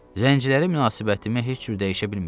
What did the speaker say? Zəngçilərimə münasibətimi heç cür dəyişə bilmirəm.